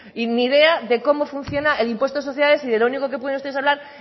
ni idea de cómo funciona el impuesto de sociedades y de lo único que pueden ustedes hablar